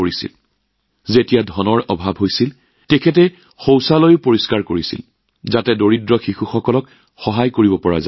টকাৰ নাটনি হলে লগানাথনজীয়ে আনকি শৌচাগাৰ চাফা কৰিছিল যাতে আৰ্তজনৰ লৰাছোৱালীক সহায় কৰিব পৰা যায়